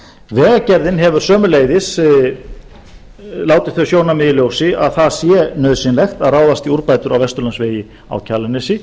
vegagerðin hefur sömuleiðis látið þau sjónarmið í ljósi að það sé nauðsynlegt að ráðast í úrbætur á vesturlandsvegi á kjalarnesi